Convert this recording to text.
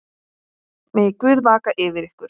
Megi Guð vaka yfir ykkur.